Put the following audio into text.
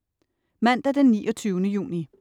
Mandag den 29. juni